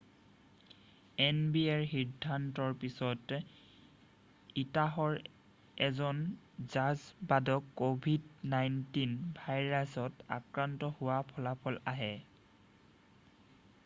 এনবিএৰ সিদ্ধান্তৰ পিছতে উটাহৰ এজন জাজ বাদক ক'ভিড 19 ভাইৰাছত আক্ৰান্ত হোৱাৰ ফলাফল আহে